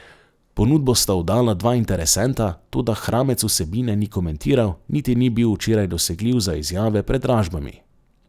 Ponudbo sta oddala dva interesenta, toda Hramec vsebine ni komentiral, niti ni bil včeraj dosegljiv za izjave pred dražbami.